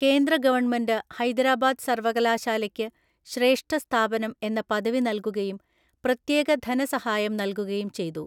കേന്ദ്ര ഗവണ്മെന്റ് ഹൈദരാബാദ് സർവകലാശാലയ്ക്കു ശ്രേഷ്ഠസ്ഥാപനം എന്ന പദവി നൽകുകയും പ്രത്യേക ധനസഹായം നൽകുകയും ചെയ്തു.